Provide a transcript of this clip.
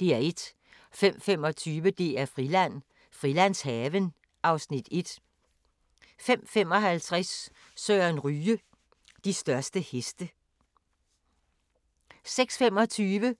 05:25: DR-Friland: Frilandshaven (Afs. 1) 05:55: Søren Ryge: De største heste 06:25: